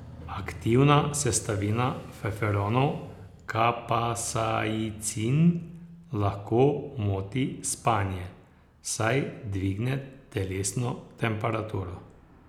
Aktivna sestavina feferonov kapsaicin lahko moti spanje, saj dvigne telesno temperaturo.